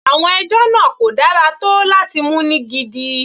Àwọn ẹjọ́ náà kò dára tó láti mú ní gidi.